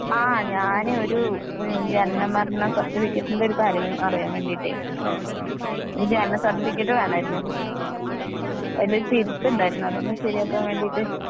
ആ, ഞാനൊരു ജനന മരണ സർട്ടിഫിക്കറ്റ്നു ഒരു കാര്യം അറിയാൻ വെണ്ടീട്ട്. ജനന സർട്ടിഫിക്കറ്റ് വേണമായിരുന്നു അതിലൊരു തിരുത്ത് ഉണ്ടായിരുന്നു.അതൊന്നു ശെരിയക്കാൻ വേണ്ടീട്ട്.